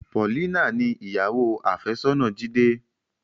Paulina ni ìyàwó afesona Jide.